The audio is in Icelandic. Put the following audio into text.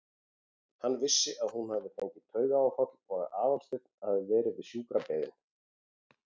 Hann vissi að hún hafði fengið taugaáfall og að Aðalsteinn hafði verið við sjúkrabeðinn.